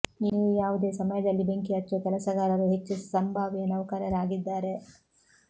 ನೀವು ಯಾವುದೇ ಸಮಯದಲ್ಲಿ ಬೆಂಕಿ ಹಚ್ಚುವ ಕೆಲಸಗಾರರು ಹೆಚ್ಚು ಸಂಭಾವ್ಯ ನೌಕರರಾಗಿದ್ದಾರೆ